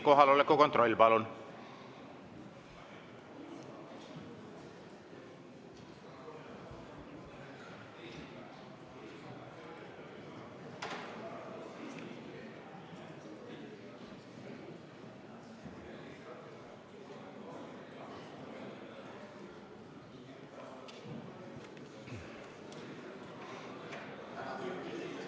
Kohaloleku kontroll, palun!